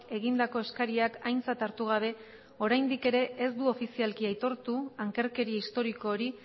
egindako eskariak aintzat hartu gabe oraindik ere ez du ofizialki aitortu ankerkeria historiko hori